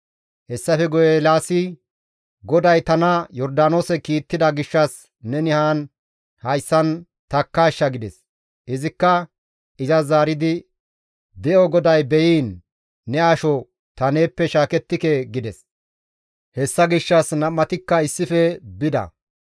Hessafe guye Eelaasi, «GODAY tana Yordaanoose kiittida gishshas neni haan hayssan takkaashsha» gides; izikka izas zaaridi, «De7o GODAY beyiin, ne asho ta neeppe shaakettike» gides. Hessa gishshas nam7atikka issife bida.